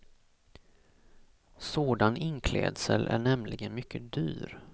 Sådan inklädsel är nämligen mycket dyr.